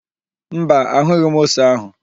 Mba, ahụghị m ose áhụ̀.